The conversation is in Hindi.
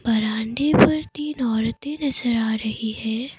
बरांडे पर तीन औरतें नजर आ रही हैं।